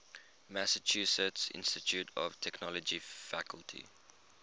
massachusetts institute of technology faculty